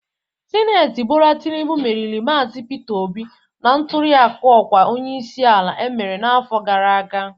Sinetọ Bola Tinubụ meriri Maazi Peter Obi na ntuliaka ọkwa onyeisi ala emere n'afọ gara aga